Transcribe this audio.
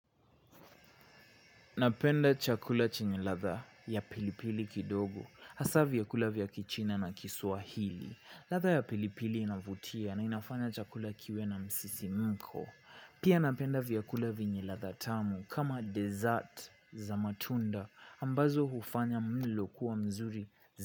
Napenda chakula chinye ladha ya pilipili kidogo hasa vyakula vya kichina na kiswahili latha ya pilipili inavutia na inafanya chakula kiwe na msisi mko pia napenda vyakula vyenye ladha tamu kama desert za matunda ambazo hufanya mlo kuwa mzuri.